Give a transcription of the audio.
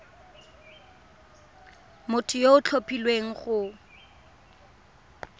motho yo o tlhophilweng go